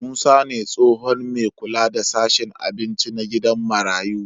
Musa ne tsohon me kula da sashen abinci na gidan marayu